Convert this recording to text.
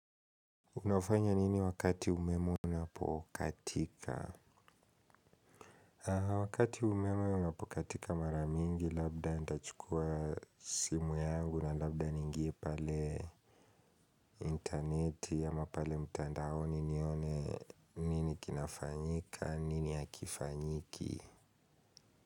Unafanya nini wakati umeme unapokatika? Wakati umeme unapokatika maramingi labda nitachukua simu yangu na labda niingie pale interneti ama pale mtandaoni nione nini kinafanyika, nini hakifanyiki?